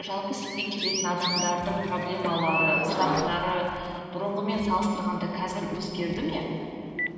жалпы сізге келетін адамдардың проблемалары сұрақтары бұрынғымен салыстырғанда қазір өзгерді ме